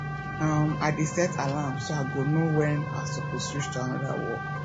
um i dey set alarm so i go know wen i soppose switch to anoda work